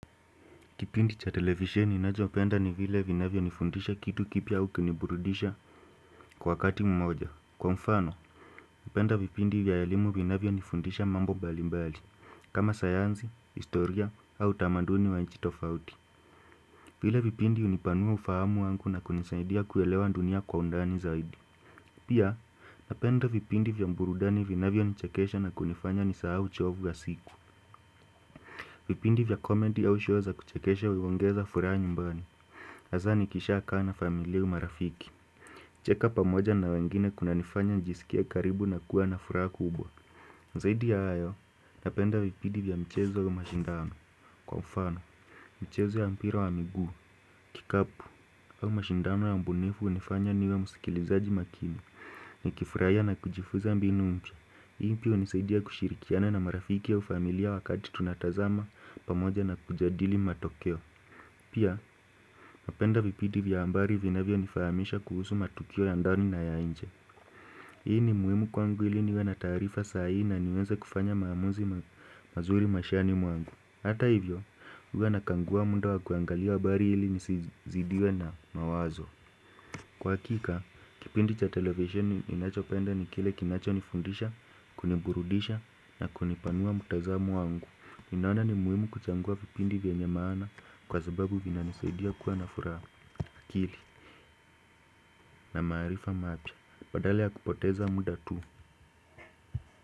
Kipindi cha televisheni ninachopenda ni vile vinavyonifundisha kitu kipya au kuniburudisha kwa wakati mmoja. Kwa mfano, napenda vipindi vya elimu vinavyonifundisha mambo mbalimbali kama sayansi, historia au utamaduni wa nchi tofauti. Vile vipindi hunipanua ufahamu wangu na kunisaidia kuelewa dunia kwa undani zaidi. Pia, napenda vipindi vya burudani vinavyonichekesha na kunifanya nisahau uchovu wa siku. Vipindi vya comedy au show za kuchekesha huongeza furaha nyumbani. Hasaa nikishakaa na familia au marafiki. Kucheka pamoja na wengine kunanifanya nijisikie karibu na kuwa na furaha kubwa. Zaidi ya hayo, napenda vipindi vya mchezo au mashindano. Kwa mfano, mchezo ya mpira wa miguu, kikapu, au mashindano ya ubunifu hunifanya niwe msikilizaji makini. Nikifurahia na kujifuza mbinu mpya. Hunisaidia kushirikiana na marafiki au familia wakati tunatazama pamoja na kujadili matokeo. Pia, napenda vipindi vya habari vinavyonifahamisha kuhusu matukio ya ndani na ya nje. Hii ni muhimu kwangu ili niwe na taarifa saa hii na niweze kufanya maamuzi mazuri maishani mwangu. Hata hivyo, huwa nakagua munda wa kuangalia habari ili nisizidiwe na mawazo. Kwa hakika, kipindi cha televisheni ninachopenda ni kile kinachonifundisha, kuniburudisha na kunipanua mtazamo wangu. Ninaona ni muhimu kuchagua vipindi vyenye maana kwa sababu vinanisaidia kuwa na furaha, akili na maarifa mapya badala ya kupoteza muda tu.